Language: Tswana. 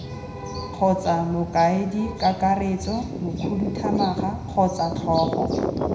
kgotsa mokaedikakaretso mokhuduthamaga kgotsa tlhogo